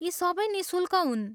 यी सबै निःशुल्क हुन्।